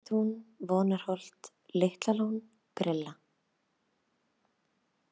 Undirtún, Vonarholt, Litlalón, Grilla